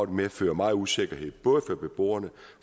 medfører meget usikkerhed både for beboerne